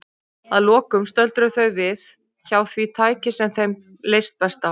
Að lokum stöldruðu þau við hjá því tæki sem þeim leist best á.